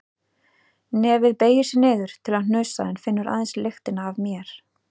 Nefið beygir sig niður til að hnusa en finnur aðeins lyktina af mér.